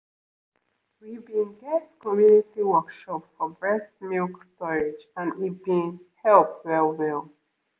we been get community workshop for breast milk storage and e been help well-well